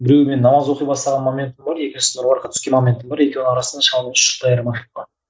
біреуі мен намаз оқи бастаған моментім бар екіншісі нұр мүбаракқа түскен моментім бар екеуінің арасында айырмашылық бар